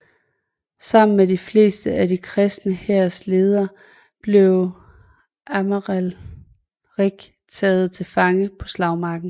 Sammen med de fleste af den kristne hærs ledere blev Amalrik taget til fange på slagmarken